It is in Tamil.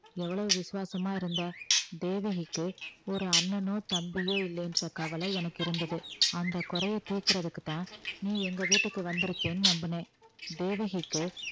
எவ்வளவு விசுவாசமா இருந்த தேவகிக்கு ஒரு அண்ணனோ தம்பியோ இல்லைன்ற கவலை எனக்கு இருந்தது அந்த குறையை தீர்க்குறதுக்குத்தான் நீ எங்க வீட்டுக்கு வந்திருக்கேன்னு நம்பினேன் தேவகிக்கு